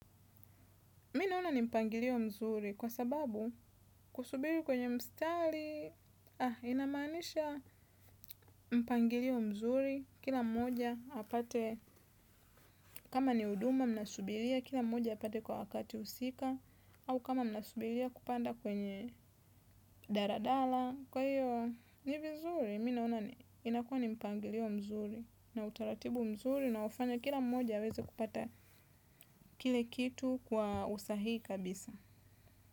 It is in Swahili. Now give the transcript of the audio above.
Minaona ni mpangilio mzuri kwa sababu kusubiri kwenye mstari inamanisha mpangilio mzuri kila mmoja hapate kama ni uduma mnasubiria kila mmoja hapate kwa wakati usika au kama mnasubiria kupanda kwenye daradala kwa iyo nivizuri minaona inakuwa ni mpangilio mzuri na utaratibu mzuri na ufanya kila mmoja aweze kupata kile kitu kwa usahii kabisa.